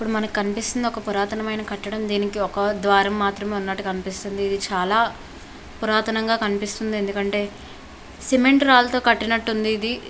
ఇక్కడ మన కనిపిస్తుంది ఇక్కడ ఒక పురాతనమైన కట్టడము. దీనికి ఒక వారం మాత్రం ఉన్నట్టు కనిపిస్తుంది. ఇది చాలా పురాతన కట్టడంలో కనిపిస్తుంది . ఎందుకంటే సిమెంట్ రాళ్లతో కట్టినట్టు ఉండేది ఉంది ఇది.